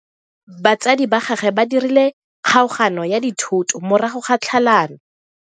Batsadi ba gagwe ba dirile kgaoganyo ya dithoto morago ga tlhalano.